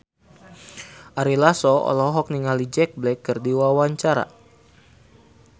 Ari Lasso olohok ningali Jack Black keur diwawancara